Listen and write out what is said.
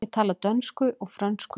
Ég tala dönsku og frönsku.